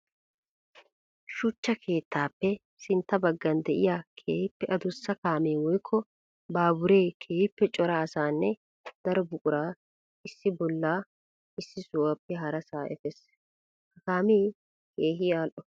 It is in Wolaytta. Shuchcha keettappe sintta bagan de'iya keehippe adussa kaame woykko baabbure keehippe cora asaanne daro buqura issi bolla issi sohuwappe haraasa efees. Ha kaame keehi ali'o.